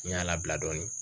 N y'a labila dɔɔnin